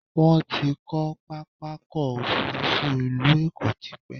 Wọ́́n ti kọ́ pápákọ̀ òfurufú ti ilú Èkó tipẹ́